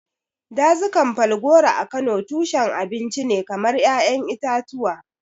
Dazukan Falgore a Kano tushen abinci ne kamar ƴaƴan itatuwa.